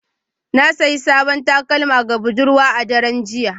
Na sayi sabon takalma ga budurwata a daren jiya